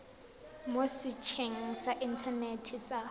mo setsheng sa inthanete sa